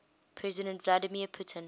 president vladimir putin